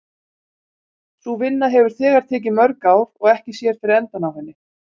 Sú vinna hefur þegar tekið mörg ár og ekki sér fyrir endann á henni.